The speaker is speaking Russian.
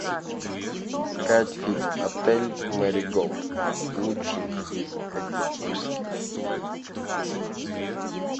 искать фильм отель мэриголд лучший из экзотических